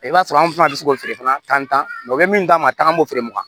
I b'a sɔrɔ anw fana bɛ se k'o feere fana tan o bɛ min d'an ma tan an b'o feere mugan